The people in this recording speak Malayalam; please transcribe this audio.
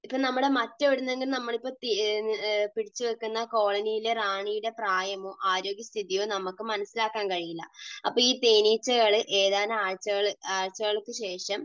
അപ്പോൾ നമ്മൾ മറ്റെവിടെ നിന്നെങ്കിലും പിടിച്ചു വെക്കുന്ന കോളനിയിലെ റാണിയുടെ പ്രായമോ ആരോഗ്യസ്ഥിതിയോ നമുക്ക് മനസ്സിലാക്കാൻ കഴിയില്ല. അപ്പോൾ ഈ തേനീച്ചകൾ ഏതാനും ആഴ്ചകൾക്കുശേഷം